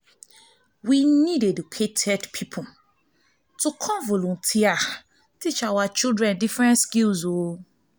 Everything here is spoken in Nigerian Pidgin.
we need educated people to come volunteer teach our children different skills